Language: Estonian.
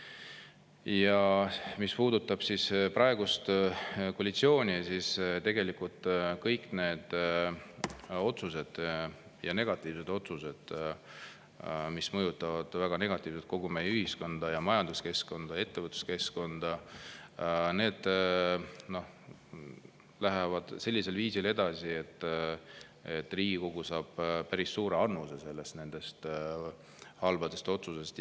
Ja mis puudutab praegust koalitsiooni, siis tegelikult kõik need otsused, negatiivsed otsused mõjutavad väga negatiivselt kogu meie ühiskonda ja majanduskeskkonda ja ettevõtluskeskkonda ning need lähevad sellisel viisil edasi, et Riigikogule päris suur annus nendest halbadest otsustest.